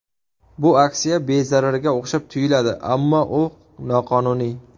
Bu aksiya bezararga o‘xshab tuyuladi, ammo u noqonuniy.